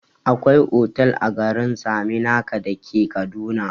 Akwai otal a garin saminaka dake kaduna